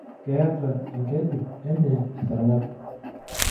Keeta enkeju enye esarng'ab.